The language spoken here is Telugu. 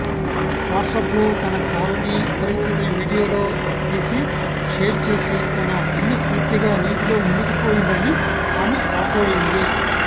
వాట్సాప్లో తన కాలనీ పరిస్థితిని వీడియోలో తీసి షేర్ చేసి తన ఇల్లు పూర్తిగా నీటిలో మునిగిపోయిందని ఆమె వాపోయింది